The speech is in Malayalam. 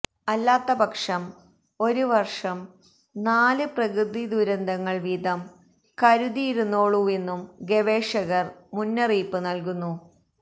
അല്ലാത്തപക്ഷം ഒരു വര്ഷം നാല് പ്രകൃതിദുരന്തങ്ങള് വീതം കരുതിയിരുന്നോളൂവെന്നും ഗവേഷകര് മുന്നറിയിപ്പ് നല്കുന്നു